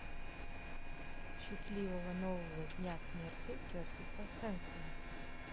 счастливого нового дня смерти кертиса хэнсона